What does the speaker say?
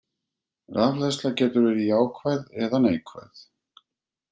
Rafhleðsla getur verið jákvæð eða neikvæð.